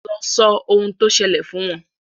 lọ sọ ohun tó sẹlẹ̀ fún wọn